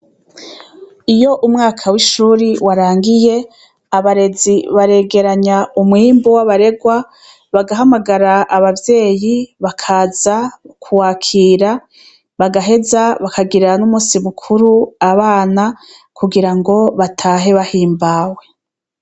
Iyo umwaka w'ishuri warangiye, abarezi baregeranya umwimbu w'abarerwa, bagahamagara abavyeyi bakaza kuwakira, bagaheza bakagirira n'umusi mukuru abana, kugira ngo batahe bahimbawe.